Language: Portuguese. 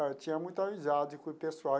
Eu tinha muita amizade com o pessoal.